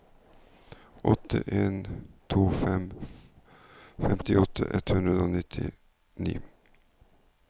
åtte en to fem femtiåtte ett hundre og nittini